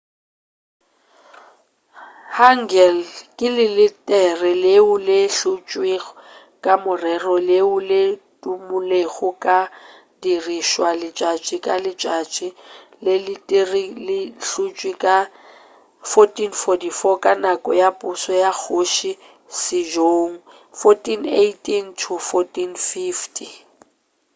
hangeul ke leletere leo le hlotšwego ka morero leo le tumulego ka go dirišwa letšatši ka letšatši. leletere le hlotšwe ka 1444 ka nako ya pušo ya kgoši sejong 1418-1450